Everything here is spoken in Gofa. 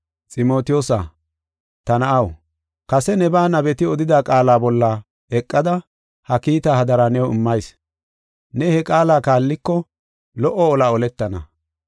Ximotiyoosa, ta na7aw, kase nebaa nabeti odida qaala bolla eqada ha kiitaa hadara new immayis. Ne he qaala kaalliko lo77o olaa oletana.